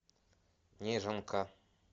неженка